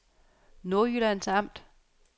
Nordjyllands Amt